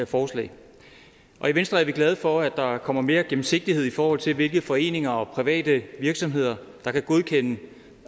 forslag i venstre er vi glade for at der kommer mere gennemsigtighed i forhold til hvilke foreninger og private virksomheder der kan godkendes